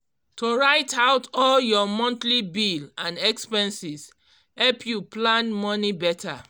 to write out all your monthly bill and expenses help you plan money better